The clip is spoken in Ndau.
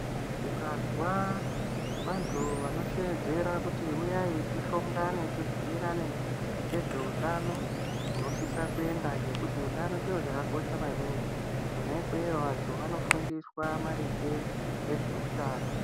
Ukazw vantu vamoshedzera kuti uyai tishongane tibhuyirane ngezveutano, unosise kuenda ngekuti utano chiro chakakosha maningi. Kwona ikweyo vantu vanofundiswa maringe nezveutano.